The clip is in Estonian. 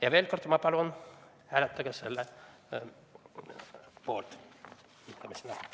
Ja veel kord, ma palun, hääletage selle avalduse poolt!